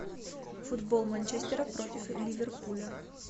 футбол манчестера против ливерпуля